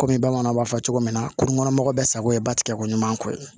Kɔmi bamananw b'a fɔ cogo min na kunun kɔnɔ mɔgɔ bɛɛ sago ye ba tigɛ ko ɲuman kɔ ye